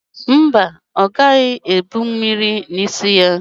Mba, ọ gaghị ebu mmiri n'isi ya.